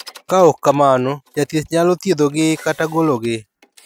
Ka ok kamano, jathieth nyalo thiedho gi kata golo gi.